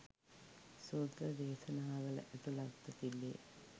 සූත්‍ර දේශනාවල ඇතුළත්ව තිබේ.